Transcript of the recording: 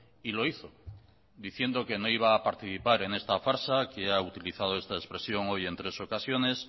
y lo hizo diciendo que no iba a participar en esta farsa que ha utilizado esta expresión hoy en tres ocasiones